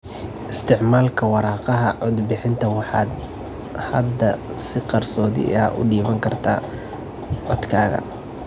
Isticmaalka waraaqaha codbixinta, waxaad hadda si qarsoodi ah u dhiiban kartaa codkaga.